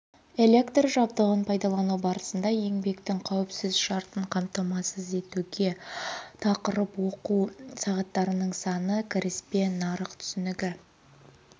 электр жабдығын пайдалану барысында еңбектің қауіпсіз шартын қамтамасыз етуге тақырып оқу сағаттарының саны кіріспе нарық түсінігі